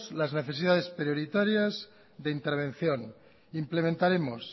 las necesidades prioritarias de intervención implementaremos